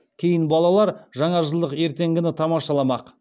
кейін балалар жаңажылдық ертегіні тамашаламақ